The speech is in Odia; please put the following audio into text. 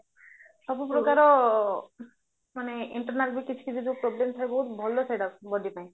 ସବୁପ୍ରକାର ମାନେ internal ବି କିଛି କିଛି ଯୋଉ ପ୍ରୋବ୍ଲେମ ଥାୟେ ବହୁତ ଭଲ ସେଟା body ପାଇଁ